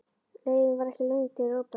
Leiðin var ekki löng til Róberts.